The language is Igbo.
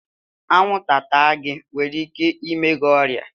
Anwụnta taa gi nwere ike ime gị ọrịa